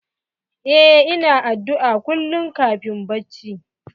Eh ina addu'a kullum kafin bacci.